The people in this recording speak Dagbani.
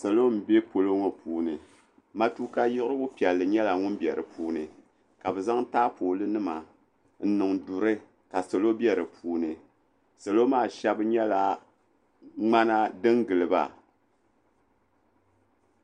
Salo m bɛ polo ŋɔ puuni matuka yiɣiri piɛlli nyɛla ŋun bɛ di puuni ka bɛ zaŋ taapoli nima n niŋ duuni ka salo bɛ di puuni salo maa shɛba nyɛla ŋmana din giliba.